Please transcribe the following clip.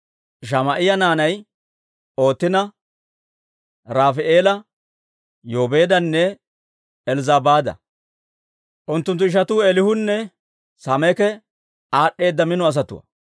Shamaa'iyaa naanay Ootina, Rafaa'eela, Yobeedanne Elzzabaada; unttunttu ishatuu Eelihunne Samaake aad'd'eeda mino asatuwaa.